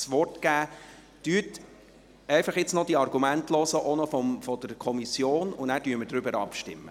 Hören Sie nun einfach noch die Argumente der Kommission, danach stimmen wir darüber ab.